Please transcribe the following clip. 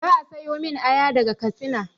Za a siyomin aya daga katsina